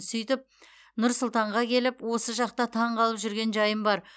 сөйтіп нұр сұлтанға келіп осы жақта таңғалып жүрген жайым бар